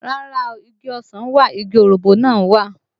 Rárá o, igi ọsàn wà, igi òroǹbó náà wà